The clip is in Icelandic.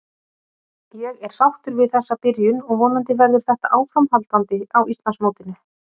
Ég er sáttur við þessa byrjun og vonandi verður þetta áframhaldandi á Íslandsmótinu.